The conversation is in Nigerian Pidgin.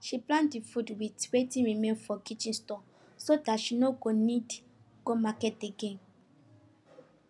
she plan the food with wetin remain for kitchen store so that she no go need go market again